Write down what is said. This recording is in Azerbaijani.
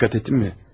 Dikkat ettin mi?